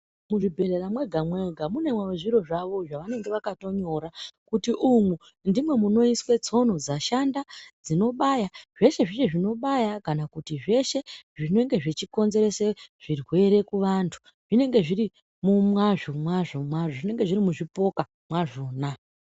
Muzvibhedhlera mwega mwega munewo zviro zvavo zvavanenge vakatonyora kuti umwu ndimwo munoiswe tsono dzashanda dzinobaya zveshe zveshe zvinobaya kana kuti zveshe zvinenge zvichikonzeresa zvirwere kuvantu zvinenge zviri mwazvo mwazvo zvinenge zviri muzvipoka mwazvona .